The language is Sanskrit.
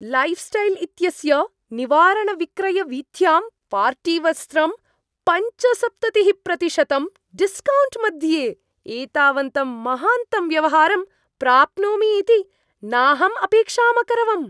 लैफ्स्टैल् इत्यस्य निवारणविक्रयवीथ्यां पार्टीवस्त्रं पञ्चसप्ततिः प्रतिशतं डिस्कौण्ट् मध्ये एतावन्तं महान्तं व्यवहारं प्राप्नोमि इति नाहम् अपेक्षाम् अकरवम्।